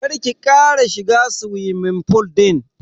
Kar ki kara shiga suwimin fool din.